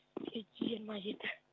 жеті жүз жиырма жеті